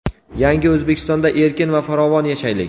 Yangi O‘zbekistonda erkin va farovon yashaylik.